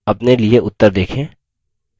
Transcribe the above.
अपने लिए उत्तर देखें